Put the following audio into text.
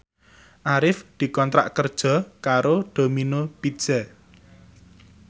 Arif dikontrak kerja karo Domino Pizza